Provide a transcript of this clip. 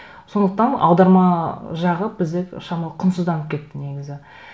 сондықтан аударма жағы бізде шамалы құнсызданып кетті негізі